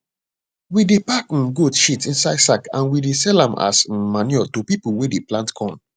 we dey pack um goat shit inside sack and we dey sell am as um manure to pipu wey dey plant corn